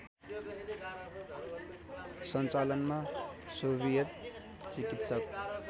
सञ्चालनमा सोभियत चिकित्सक